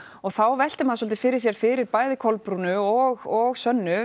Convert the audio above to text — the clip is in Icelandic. þá veltir maður svolítið fyrir sér fyrir bæði Kolbrúnu og og sönnu